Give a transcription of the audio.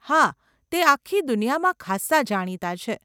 હા, તે આખી દુનિયામાં ખાસ્સા જાણીતાં છે.